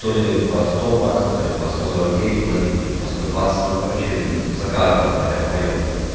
то-ли по сто долларов то-ли по сто сорок девять платили то-ли по сто двадцать ну короче за каждого хотя вдвоём